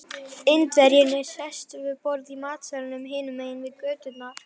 Indverjinn er sestur við borð í matsalnum hinum megin götunnar.